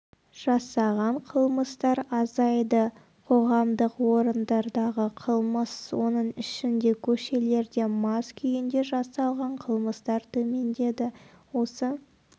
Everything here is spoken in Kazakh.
жасаған қылмыстар азайды қоғамдық орындардағы қылмыс оның ішінде көшелерде мас күйінде жасалған қылмыстар төмендеді осы